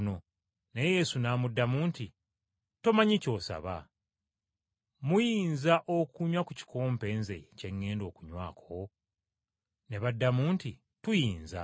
Naye Yesu n’amuddamu nti, “Tomanyi ky’osaba. Muyinza okunywa ku kikompe nze kye ŋŋenda okunywako?” Ne baddamu nti, “Tuyinza.”